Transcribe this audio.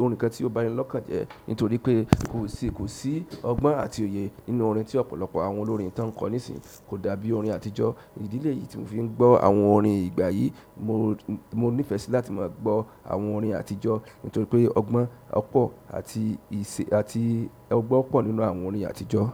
orin kan tí ó ba ni lọ́kàn jẹ. Nítorí pé kò sí, kò sí ọgbọ́n àti òye nínú orin tí ọ̀pọ̀lọpọ̀ àwọn olórin tán kọ nísìí kò dàbí orin àtijọ́. Ìdí léyìí tí mò ń fi ń gbọ́ àwọn orin ìgbà yìí, mo, mo nífẹ̀ẹ́ sí láti máa gbọ́ àwọn orin àtijọ́. Nítorí pé ọgbọ́n pọ̀ àti ìṣe àti ọgbọ́n pọ̀ nínú àwọn orin àtijọ́.